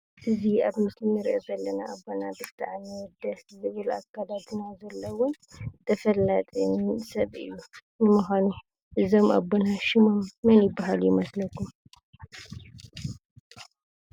እዚ አብ ምስሊ እንሪኦም ዘለና አቦና ብጣዕሚ ደስ ዝብል አከዳድና ዘለዎም ተፈላጢ ሰብ እዩ። ንምኳኑ እዞም አቦና ሽሞም መን ይባሃሉ ይመስለኩም ?